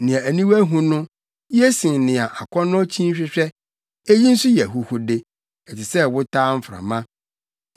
Nea aniwa hu no ye sen nea akɔnnɔ kyin hwehwɛ. Eyi nso yɛ ahuhude, ɛte sɛ wotaa mframa.